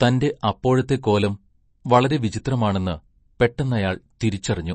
തൻ്റെ അപ്പോഴത്തെ കോലം വളരെ വിചിത്രമാണെന്ന് പെട്ടെന്നയാൾ തിരിച്ചറിഞ്ഞു.